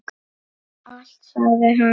Allt sagði hann.